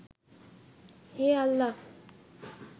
হে আল্লাহ